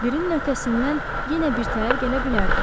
Birin ötəsindən yenə bir təhər gələ bilərdi.